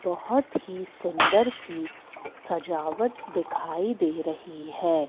बहोत ही सुंदर सी सजावट दिखाई दे रही है।